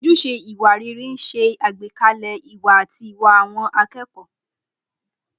Ojúṣe ìwà rere ń ṣe àgbékalẹ̀ ìwà àti ìwà àwọn akẹ́kọ̀ọ́.